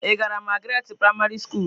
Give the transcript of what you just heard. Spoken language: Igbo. Ị gara Magaratị praịmarị skulu?